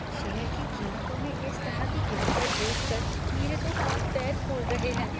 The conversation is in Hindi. शेयर की कीमतों में इस तरह की गिरावट देखकर मेरे तो हाथ पैर फूल रहे हैं।